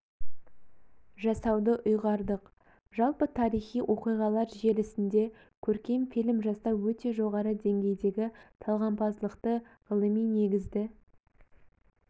жасауды ұйғардық жалпы тарихи оқиғалар желісінде көркем фильм жасау өте жоғары деңгейдегі талғампаздықты ғылыми негізді